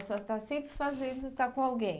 A senhora está sempre fazendo, está com alguém.